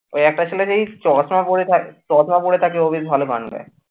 একটা ছেলে বেশ চশমা পরে থাক চশমা পরে থাকতো ও বেশ ভালো গান গায়।